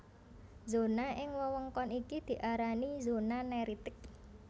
Zona ing wewengkon iki diarani zona neritik